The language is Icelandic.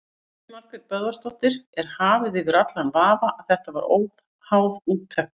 Elín Margrét Böðvarsdóttir: Er hafið yfir allan vafa að þetta verið óháð úttekt?